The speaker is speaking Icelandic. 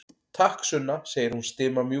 Takk, Sunna, segir hún stimamjúk.